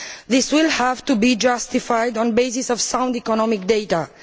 These will have to be justified on the basis of sound economic data.